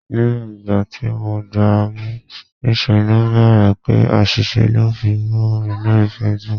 Ní ìgbà tí mo gba mú, ní ṣe ló ń bèbè pé àṣìṣe lò ń fi bù mi lórí Facebook.